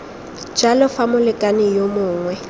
jalo fa molekane yo mongwe